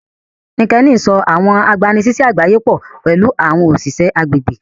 Linkedin sọ àwọn agbanisiṣẹ àgbáyé pọ pẹlú àwọn òṣìṣẹ́ agbègbè